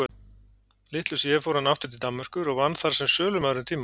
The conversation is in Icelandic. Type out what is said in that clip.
Litlu síðar fór hann aftur til Danmerkur og vann þar sem sölumaður um tíma.